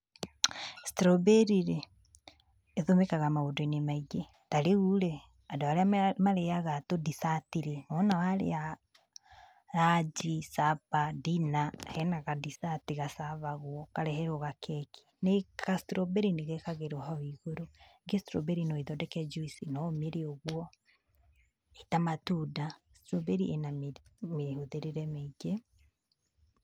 Strawberry rĩ, ĩtũmĩkaga maũndũ-inĩ maingĩ, ta rĩu rĩ, andũ arĩa marĩaga tũ dessert rĩ, wona warĩa ranji, supper, dinner hena ka dessert gacabagwo, ũkareherwo gakeki nĩ ka strawberry nĩ gekagĩrwo hau igũrũ. Strawberry no ĩthondeke njuici, no ũmĩrĩe ũguo ĩta matunda, strawberry ĩna mĩhũthĩrĩre mĩingĩ.